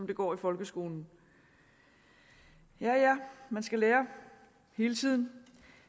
det går i folkeskolen ja ja man skal lære hele tiden